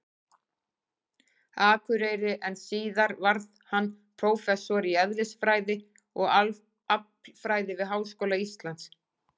Akureyri, en síðar varð hann prófessor í eðlisfræði og aflfræði við Háskóla Íslands.